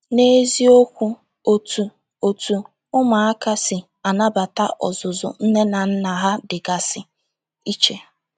N’eziokwu, otú otú ụmụaka si anabata ọzụzụ nne na nna ha dịgasị iche.